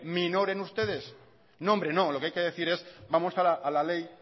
minoren ustedes no hombre no lo que hay que decir es vamos a la ley